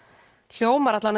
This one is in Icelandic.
hljómar